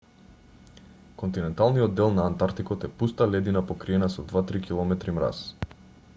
континенталниот дел на антартикот е пуста ледина покриена со 2-3 км мраз